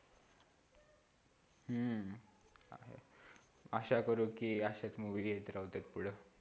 हम्म आशा करो कि अशाच movie येत राहूदे पुढं